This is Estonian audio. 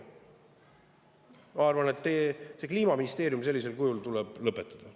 Ma arvan, et Kliimaministeeriumi tuleb sellisel kujul lõpetada.